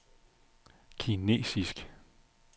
kinesisk